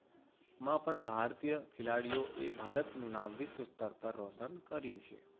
માં પણ ભારતીય ખેલાડીઓએ ભારતનું નામ વિશ્વ સ્તર પર રોશન કર્યું છે.